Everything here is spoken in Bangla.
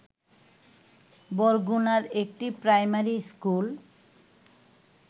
বরগুনার একটি প্রাইমারি স্কুল